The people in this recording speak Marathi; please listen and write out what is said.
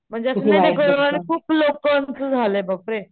म्हणजे असं नाही का कोरोना मुळे खूप लोकांचं झालंय बापरे.